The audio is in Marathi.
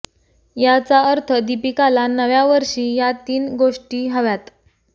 याचा अर्थ दीपिकाला नव्या वर्षी या तीन गोष्टी हव्यात